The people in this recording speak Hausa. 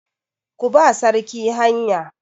Ku ba sarki hanya!